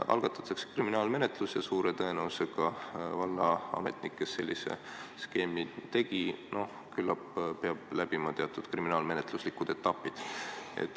Algatatakse kriminaalmenetlus ja suure tõenäosusega keegi vallaametnikest selle skeemi tegi, küllap peab läbima teatud kriminaalmenetluslikud etapid.